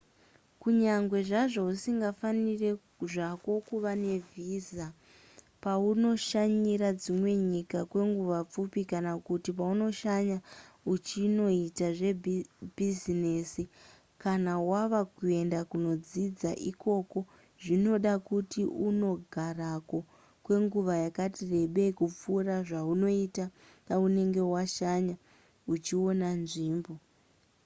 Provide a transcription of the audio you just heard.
kunyange zvazvo usingafaniri zvako kuva nevhiza paunoshanyira dzimwe nyika kwenguva pfupi kana kuti paunoshanya uchinoita zvebhizinesi kana wava kuenda kunodzidza ikoko zvinoda kuti unogarako kwenguva yakati rebei kupfuura zvaunoita paunenge washanya uchiona nzvimbo